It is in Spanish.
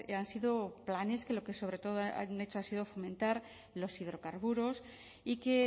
han sido planes que lo que sobre todo han hecho ha sido fomentar los hidrocarburos y que